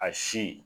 A si